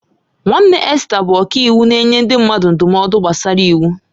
Nwanne Esther bụ ọkàiwu na-enye ndị mmadụ ndụmọdụ gbasara iwu.